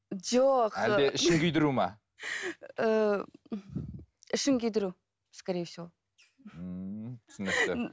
жоқ әлде ішін күйдіру ме ііі ішін күйдіру скорее всего ммм түсінікті